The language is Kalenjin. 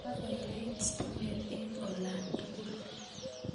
kakoyait stimet eng olatugul